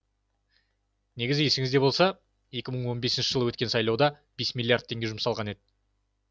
негізі есіңізде болса екі мың он бесінші жылы өткен сайлауға бес миллиард теңге жұмсалған еді